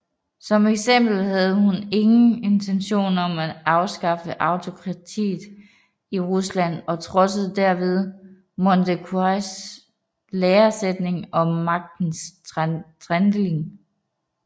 Som eksempel havde hun ingen intention om at afskaffe autokratiet i Rusland og trodsede derved Montesquieus læresætning om magtens tredeling